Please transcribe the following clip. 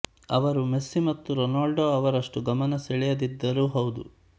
ಅವರು ಮೆಸ್ಸಿ ಮತ್ತು ರೋನಾಲ್ಡೋ ಅವರಷ್ಟು ಗಮನ ಸೆಳೆಯದಿದ್ದರೂ ಹೌದು